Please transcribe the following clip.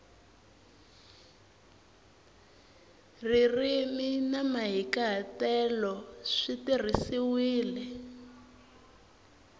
ririmi na mahikahatelo swi tirhisiwile